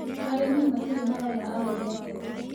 Arĩmi matirĩmarona agũri a mbembe.